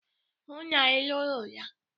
Hụ na ị lụrụ ya!